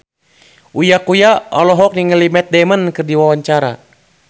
Uya Kuya olohok ningali Matt Damon keur diwawancara